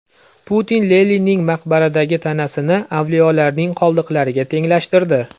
Putin Leninning maqbaradagi tanasini avliyolarning qoldiqlariga tenglashtirdi.